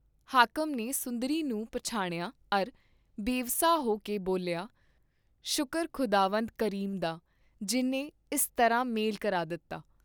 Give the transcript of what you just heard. ਹਾਕਮ ਨੇ ਸੁੰਦਰੀ ਨੂੰ ਪਛਾਣਿਆ ਅਰ ਬੇਵਸਾ ਹੋਕੇ ਬੋਲਿਆ, "ਸ਼ੁਕਰ ਖੁਦਾਵੰਦ ਕਰੀਮ ਦਾ, ਜਿਨ੍ਹੇ ਇਸ ਤਰ੍ਹਾਂ ਮੇਲ ਕਰਾ ਦਿਤਾ।